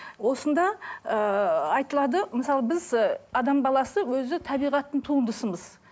осында ыыы айтылады мысалы біз ы адам баласы өзі табиғаттың туындысымыз